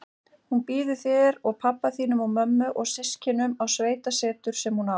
Hún býður þér og pabba þínum og mömmu og systkinunum á sveitasetur sem hún á.